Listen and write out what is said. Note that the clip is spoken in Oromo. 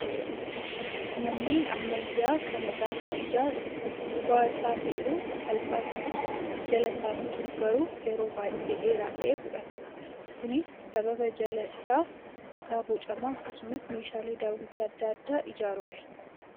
Manneen ammayyaa kana gaafa ijaarru gubbaa isaa fixuun salphaa ta'us, jala isaa fixuuf garuu yeroo baay'ee dheeraa ta'e fudhata. Kunis sababa jala isaa dhagaa bocamaa akkasumas meeshaalee daawwitii adda addaatiin ijaarruufi,